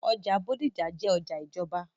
ọjà Bódìjà jẹ́ ọjà ìjọba.